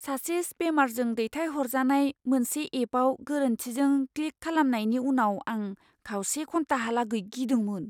सासे स्पेमारजों दैथायहरजानाय मोनसे एपआव गोरोन्थिजों क्लिक खालामनायनि उनाव आं खावसे घन्टाहालागै गिदोंमोन।